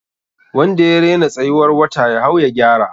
Wanda ya rena tsayuwar wata ya hau ya gyara.